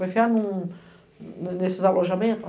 Vou enfiar nesses alojamentos?